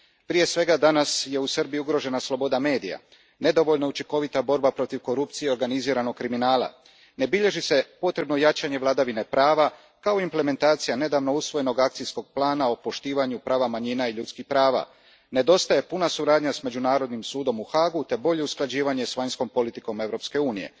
Prije svega, danas je u Srbiji ugrožena sloboda medija, nedovoljno je učinkovita borba protiv korupcije i organiziranog kriminala, ne bilježi se potrebno jačanje vladavine prava, kao i implementacija nedavno usvojenog akcijskog plana o poštivanju prava manjina i ljudskih prava, nedostaje puna suradnja s međunarodnim sudom u Haagu te bolje usklađivanje s vanjskom politikom Europske unije.